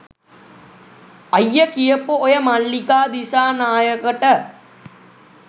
අයිය කියපු ඔය මල්ලිකා දිසානායකට